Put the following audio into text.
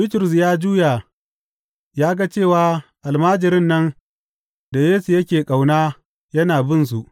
Bitrus ya juya ya ga cewa almajirin nan da Yesu yake ƙauna yana binsu.